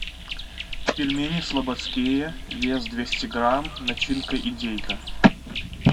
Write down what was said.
пельмени слободские вес двести грамм начинка индейка